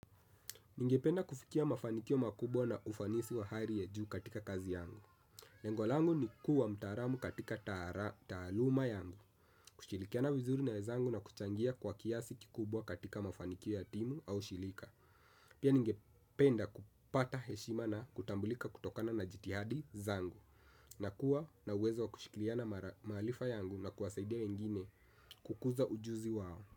Ningependa kufikia mafanikio makubwa na ufanisi wa hali ya juu katika kazi yangu. Lengo langu ni kuwa mtaalamu katika taaluma yangu, kushirikiana vizuri na wenzangu na kuchangia kwa kiasi kikubwa katika mafanikio ya timu au shirika. Pia ningependa kupata heshima na kutambulika kutokana na jitihadi zangu na kuwa na uwezo wa kushikiliana maarifa yangu na kuwasaidia wengine kukuza ujuzi wao.